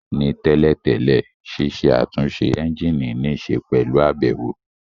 Ní tẹ́lẹ̀ tẹ́lẹ̀, ṣiṣẹ́ àtúnṣe ẹ́ńjìnì níṣe pẹ̀lú àbẹ̀wò